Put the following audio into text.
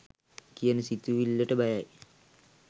කියන සිතුවිල්ලට බයයි.